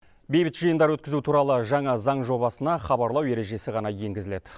бейбіт жиындар өткізу туралы жаңа заң жобасына хабарлау ережесі ғана енгізілед